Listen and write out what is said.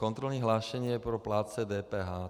Kontrolní hlášení je pro plátce DPH.